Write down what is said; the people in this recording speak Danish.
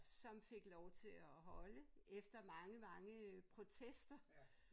Som fik lov til at holde efter mange mange protester